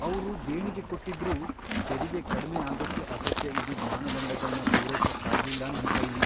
ಅವ್ರು ದೇಣಿಗೆ ಕೊಟ್ಟಿದ್ರೂ, ತೆರಿಗೆ ಕಡ್ಮೆ ಆಗೋಕೆ ಅಗತ್ಯ ಇದ್ದಿದ್ ಮಾನದಂಡಗಳ್ನ ಪೂರೈಸೋಕಾಗ್ಲಿಲ್ಲ ನಮ್ ಕೈಲಿ.